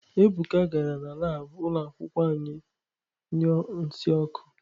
Ebuka gara na laabụ ụlọ akwụkwọ anyị nyuọ nsị ọkụ.